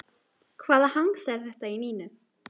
Hvaða hangs er þetta í Nínu?